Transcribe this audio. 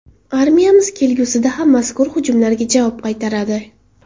Armiyamiz kelgusida ham mazkur hujumlarga javob qaytaradi.